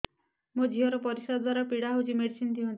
ମୋ ଝିଅ ର ପରିସ୍ରା ଦ୍ଵାର ପୀଡା ହଉଚି ମେଡିସିନ ଦିଅନ୍ତୁ